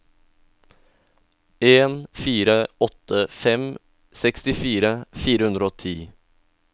en fire åtte fem sekstifire fire hundre og ti